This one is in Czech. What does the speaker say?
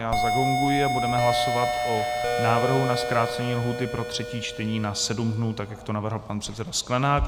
Já zagonguji a budeme hlasovat o návrhu na zkrácení lhůty pro třetí čtení na sedm dnů, tak jak to navrhl pan předseda Sklenák.